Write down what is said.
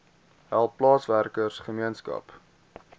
hele plaaswerker gemeenskap